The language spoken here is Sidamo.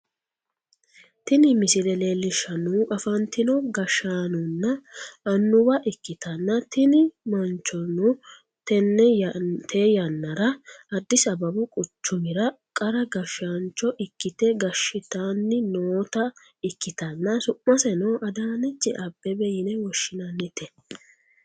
tini misile leellishshannohu afantino gashshaanonna annuwa ikkitanna, tini manchono tee yannara addis ababu quchumira qara gashshaancho ikkite gashshitanni noota ikkitanna ,su'maseno adaanechi Aabebe yine woshinannite.